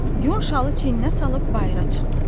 Yun şalı çiyininə salıb bayıra çıxdı.